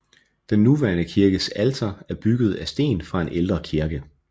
Den nuværende kirkes alter er bygget af sten fra en ældre kirke